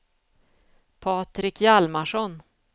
Patrik Hjalmarsson